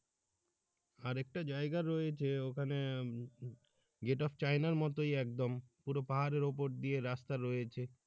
আর একটা জায়গা রয়েছে ওখানে উম যেটা চায়নার মতই একদম পুরো পাহাড়ের উপর দিয়ে রাস্তা রয়েছে